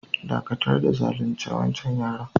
Dakatar da zalunce wancan yaron!